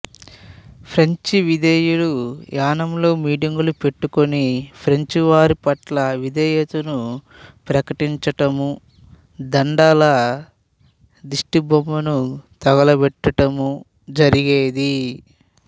ఫ్రెంచివిధేయులు యానాంలో మీటింగులు పెట్టుకొని ఫ్రెంచివారిపట్ల విధేయతను ప్రకటించటమూ దడాల దిష్టిబొమ్మను తగులపెట్టటము జరిగేది